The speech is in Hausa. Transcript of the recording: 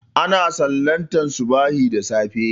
Ana sallantar subahi da safe